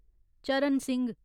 चरण सिंह